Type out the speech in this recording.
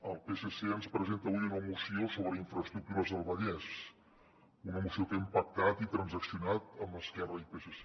el psc ens presenta avui una moció sobre infraestructures al vallès una moció que hem pactat i transaccionat amb esquerra i psc